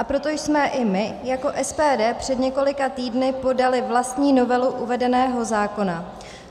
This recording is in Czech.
A proto jsme i my jako SPD před několika týdny podali vlastní novelu uvedeného zákona.